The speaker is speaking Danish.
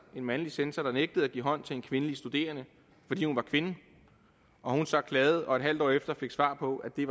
en mandlig censor der nægtede at give hånd til en kvindelig studerende fordi hun var kvinde og hun så klagede og et halvt år efter fik svar på at det